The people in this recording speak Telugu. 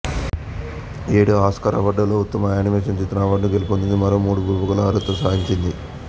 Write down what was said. ఆ యేడు ఆస్కార్ అవార్డులలో ఉత్తమ యానిమేషన్ చిత్రం అవార్డును గెలుపోంది మరో మూడు విభాగాలలో అర్హత సాదించింది